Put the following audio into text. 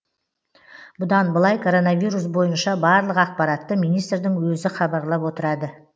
бұдан былай коронавирус бойынша барлық ақпаратты министрдің өзі хабарлап отырады